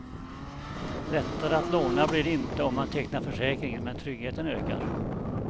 Lättare att låna blir det inte om man tecknar försäkringen, men tryggheten ökar.